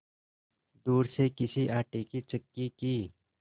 दूर से किसी आटे की चक्की की